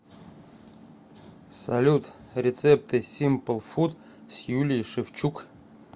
салют рецепты симпл фуд с юлией шевчук